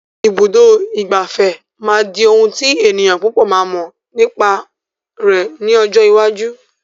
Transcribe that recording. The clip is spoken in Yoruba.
Ibùdó ìgbafẹ́ máa di ohùn tí ènìyàn púpò máa mọ nípa rẹ̀ ní ọjọ́ iwájú.